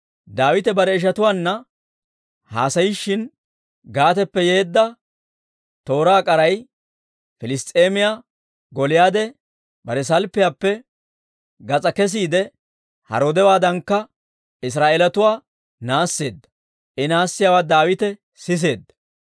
Daawite bare ishatuwaanna haasayishin, Gaateppe yeedda tooraa k'aray, Piliss's'eemiyaa Gooliyaade bare salppiyaappe gas'aa kesiide, haroodewaadankka Israa'eelatuwaa naasseedda; I naassiyaawaa Daawite siseedda.